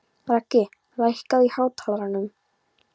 Raggi, lækkaðu í hátalaranum.